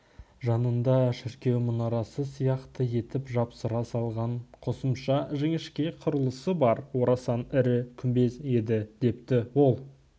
жанында шіркеу мұнарасы сияқты етіп жапсыра салған қосымша жіңішке құрылысы бар орасан ірі күмбез еді депті ол